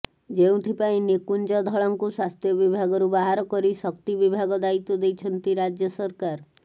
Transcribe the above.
ଯେଉଁଥିପାଇଁ ନିକୁଞ୍ଜ ଧଳଙ୍କୁ ସ୍ୱାସ୍ଥ୍ୟ ବିଭାଗରୁ ବାହାରକରି ଶକ୍ତି ବିଭାଗ ଦାୟିତ୍ୱ ଦେଇଛନ୍ତି ରାଜ୍ୟ ସରକାର